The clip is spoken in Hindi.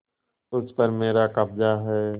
उस पर मेरा कब्जा है